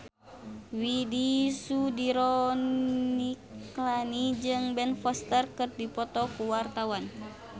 Widy Soediro Nichlany jeung Ben Foster keur dipoto ku wartawan